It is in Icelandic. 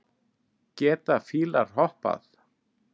Geta fílar hoppað?